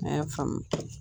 An y'a faamu